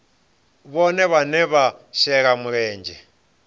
vhohe vhane vha shela mulenzhe